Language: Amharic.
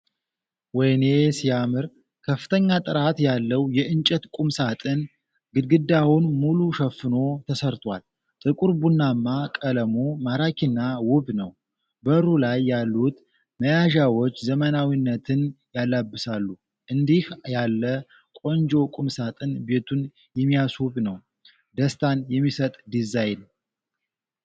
ወይኔ ሲያምር! ከፍተኛ ጥራት ያለው የእንጨት ቁምሳጥን ግድግዳውን ሙሉ ሸፍኖ ተሰርቷል። ጥቁር ቡናማ ቀለሙ ማራኪና ውብ ነው። በሩ ላይ ያሉት መያዣዎች ዘመናዊነትን ያላብሳሉ። እንዲህ ያለ ቆንጆ ቁምሳጥን ቤቱን የሚያስውብ ነው። ደስታን የሚሰጥ ዲዛይን!